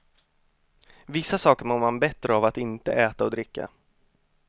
Vissa saker mår man bättre av att inte äta och dricka.